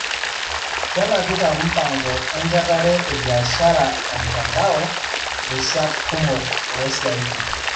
Kenapita mpango encherate ebiashara emtandao rishat kumok oosiatin.